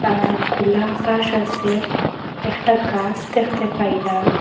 আর খোলা আকাশ আসে একটা গাস দেখতে পাইলাম।।